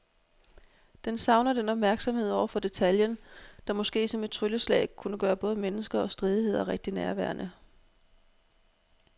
Den savner den opmærksomhed over for detaljen, der måske som et trylleslag kunne gøre både mennesker og stridigheder rigtig nærværende.